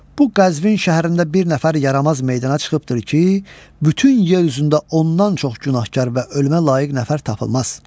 Bu Qəzvin şəhərində bir nəfər yaramaz meydana çıxıbdır ki, bütün yer üzündə ondan çox günahkar və ölməyə layiq nəfər tapılmaz.